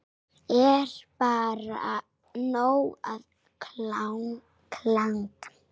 Er bara nóg að klaga?